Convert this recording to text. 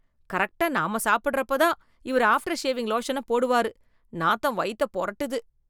கரெக்ட்டா நாம சாப்டறப்போதான், இவரு ஆஃப்டர் ஷேவிங் லோஷனை போடுவாரு... நாத்தம் வயித்தை பொரட்டுது...